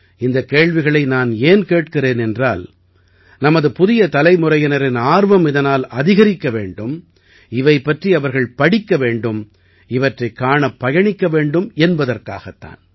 இந்தக் கேள்விகளை நான் ஏன் கேட்கிறேன் என்றால் நமது புதிய தலைமுறையினரின் ஆர்வம் இதனால் அதிகரிக்க வேண்டும் இவை பற்றி அவர்கள் படிக்க வேண்டும் இவற்றைக் காணப் பயணிக்க வேண்டும் என்பதற்காகத் தான்